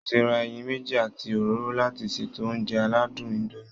Mo ti ra ẹyin méjì àti òróró láti ṣètò oúnjẹ aládùn indomie